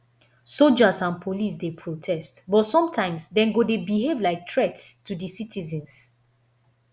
soldiers and police dey protect but sometimes dem go dey behave like threats to di citizens